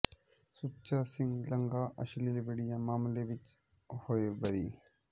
ਸੁੱਚਾ ਸਿੰਘ ਲੰਗਾਹ ਅਸ਼ਲੀਲ ਵੀਡੀੳ ਮਾਮਲੇ ਵਿੱਚੋ ਹੋਏ ਬਰੀ